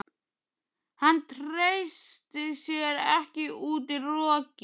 Hann treysti sér ekki út í rokið.